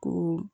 Ko